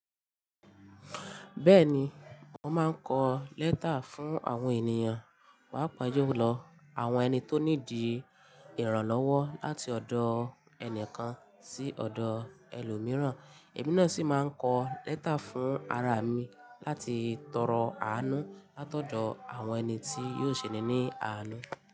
Bẹ́ẹ̀ni, mo máa kọ lẹ́tà fún àwọn ènìyàn, paa paa julọ àwọn ẹni tó needi ìrànlọ́wọ́ láti ọ̀dọ̀ ẹnìkan sí ọ̀dọ̀ ẹlòmíràn, èmi náà sì máa kọ lẹ́tà fún ara mi láti tọrọ àánú látọ̀dọ̀ àwọn ẹni tí yóò ṣe ni ní àánú.